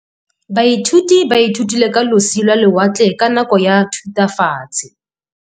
Baithuti ba ithutile ka losi lwa lewatle ka nako ya Thutafatshe.